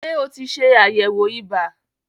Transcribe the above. Ṣé o ti ṣẹ àyẹ̀wò ibà?